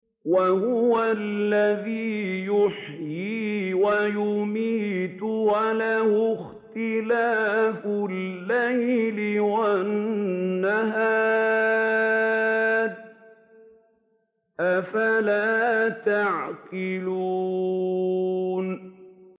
وَهُوَ الَّذِي يُحْيِي وَيُمِيتُ وَلَهُ اخْتِلَافُ اللَّيْلِ وَالنَّهَارِ ۚ أَفَلَا تَعْقِلُونَ